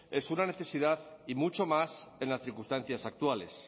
es una necesidad y mucho más en las circunstancias actuales